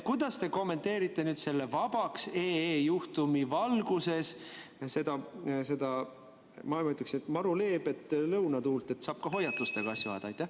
Kuidas te kommenteerite OÜ Vabaks juhtumi valguses seda, ma ütleks, maru leebet lõunatuult, et saab ka hoiatustega asju ajada?